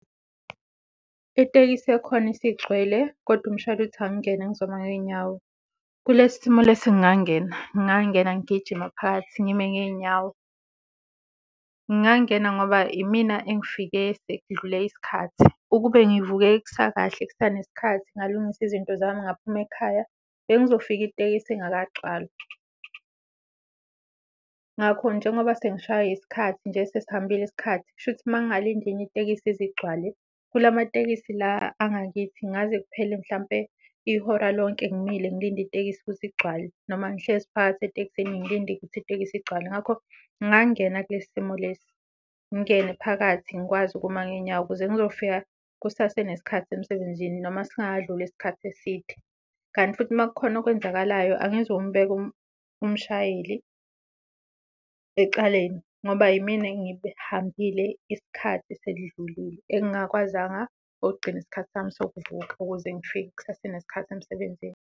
Itekisi yakhona isigcwele kodwa umshayeli uthi angingene ngizoma ngey'nyaw, kulesi simo lesi ngingangena ngingangena ngigijima phakathi ngime ngey'nyawo. Ngingangena ngoba imina engifike sekudlule isikhathi, ukube ngivuke kusakahle kusanesikhathi ngalungisa izinto zami ngaphuma ekhaya bengizofika itekisi ingakagcwali. Ngakho njengoba sengishaywe yisikhathi nje sesihambile isikhathi kushuthi mangingalinda enye itekisi ize igcwale kula matekisi la angakithi kungaze kuphele mhlampe ihora lonke ngimile ngilinde itekisi ukuze igcwale, noma ngihlezi phakathi etekisini ngilinde ukuthi itekisi igcwale. Ngakho ngingangena kule simo lesi, ngingene phakathi ngikwazi ukuma ngey'nyawo ukuze ngizofika kusase nesikhathi emsebenzini noma singakadluli isikhathi eside. Kanti futhi uma kukhona okwenzakalayo angizi ukumubeka umshayeli ecaleni ngoba yimina engihambile isikhathi sesidlulile, engingakwazanga ukugcina isikhathi sami sokuvuka ukuze ngifike kusase nesikhathi emsebenzini.